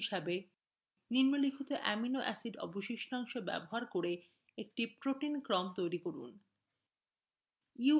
একটি অনুশীলনী হিসাবেনিম্নলিখিত অ্যামিনো অ্যাসিড অবশিষ্টাংশ ব্যবহার করে একটি protein ক্রম তৈরি করুন: